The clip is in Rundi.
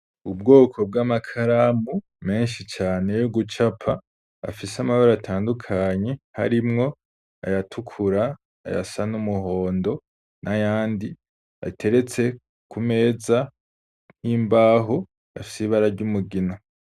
Ubwoko bw'amakaramu menshi cane yo gucapa afise amabara atandukanye harimwo ayatukura ayasa n'umuhondo n'ayandi ateretse ku meza y'imbaho afise ibara ry'umugina.